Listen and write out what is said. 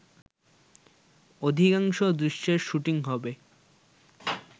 অধিকাংশ দৃশ্যের শুটিং হবে